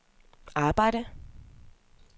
arbejde